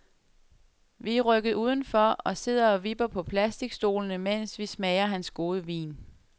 Vi er rykket udenfor og sidder og vipper på plasticstolene, mens vi smager hans gode vin.